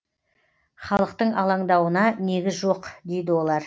халықтың алаңдауына негіз жоқ дейді олар